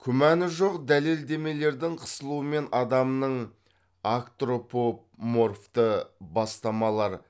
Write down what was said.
күмәні жоқ дәлелдемелердің қысылуымен адамның агтропоморфты бастамалар